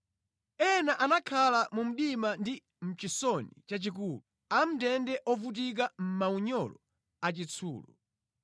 Ena anakhala mu mdima ndi mʼchisoni chachikulu, amʼndende ovutika mʼmaunyolo achitsulo,